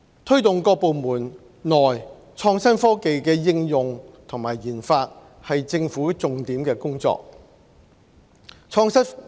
推動各部門內創新科技的應用和研發是政府重點的工作。